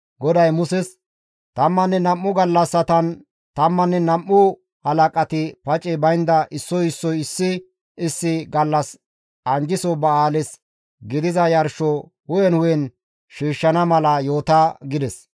GODAY Muses, «Tammanne nam7u gallassatan tammanne nam7u halaqati pacey baynda issoy issoy issi issi gallas anjjiso ba7aales gidiza yarsho hu7en hu7en shiishshana mala yoota» gides.